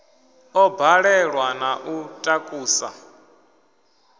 ḓo balelwa na u takusa